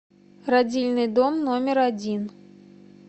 родильный дом номер один